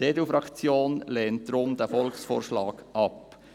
Die EDU-Fraktion lehnt darum diesen Volksvorschlag ab.